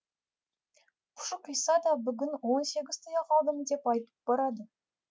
пұшық иса да бүгін он сегіз тұяқ алдым деп айтып барады